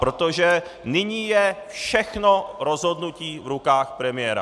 Protože nyní je všechno rozhodnutí v rukách premiéra.